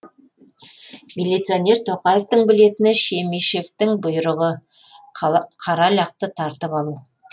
милиционер тоқаевтың білетіні шемишевтің бұйрығы қара лақты тартып алу